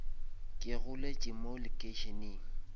ke goletše mo lekeišeneng